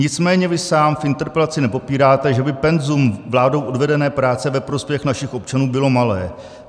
Nicméně vy sám v interpelaci nepopíráte, že by penzum vládou odvedené práce ve prospěch našich občanů bylo malé.